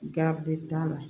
Gabrie t'a la